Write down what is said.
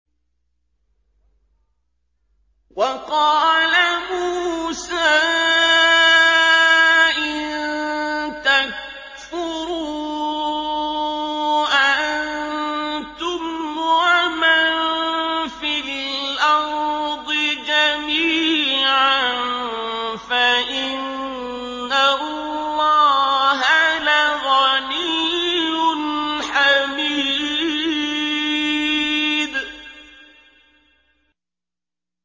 وَقَالَ مُوسَىٰ إِن تَكْفُرُوا أَنتُمْ وَمَن فِي الْأَرْضِ جَمِيعًا فَإِنَّ اللَّهَ لَغَنِيٌّ حَمِيدٌ